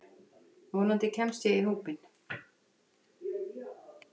Vonandi kemst ég í hópinn.